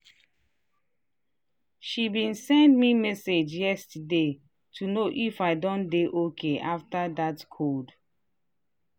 she been send me message yesterday to know if i don dey okay after that cold.